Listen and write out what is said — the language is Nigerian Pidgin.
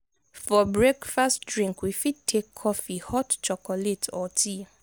for breakfast drink we fit take coffee hot chocolate or tea